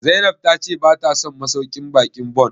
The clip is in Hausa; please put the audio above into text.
Zainab ta ce bata son masauƙin baƙin Bon?